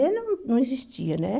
você não não existia, né?